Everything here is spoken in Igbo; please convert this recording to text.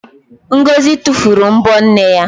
Ngọzị tufuru m̀bọ́ nne ya.